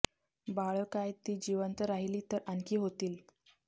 बाळ काय ती जिवंत राहिली तर आणखी होतील